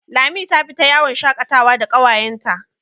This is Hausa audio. Lami ta fita yawon shakatawa da ƙawayenta.